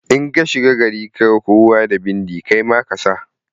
In ka shiga gari kaga kowa da bindi kai ma kasa.